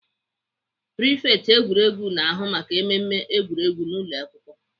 Prifekt egwuregwu na-ahụ maka emume egwuregwu n'ụlọakwụkwọ.